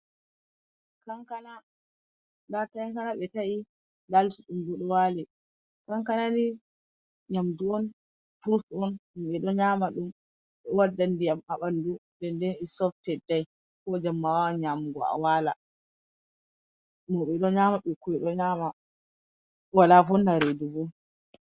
Kankana, nda kankana ɓe ta’i nda lutu ɗum bu ɗo wali, kankanani nyamdu on furutuwon won mauɓe ɗo nyama ɗum ɗo wadda diyam ha ɓandu denden is soof teddai, ko jemma awawan yamugu a wala, maɓe don nyama wala vonnata redu bo.